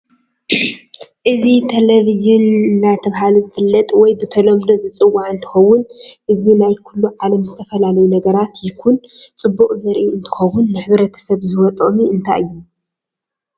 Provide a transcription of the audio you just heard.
እዚ ተለቨጅን አዳተባህለ ዝፈለጥ ወይ ብተለምዶ ዝፂዋዐ እንትከውን አዚ ናይ ኩሉ ዓለም ዝተፈላለዩ ነገረራት ይኩን ፅቡቅ ዘርኢ አንትከውን ንሕብረተሰብ ዝህቦ ጥቅሚ እንታይ እዩ?